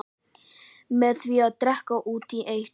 Með því að drekka út í eitt.